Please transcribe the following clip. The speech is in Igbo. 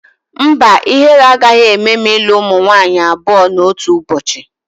Mba, ihere agaghị eme m ilu ụmụ nwaanyị abụọ n'otu ụbọchị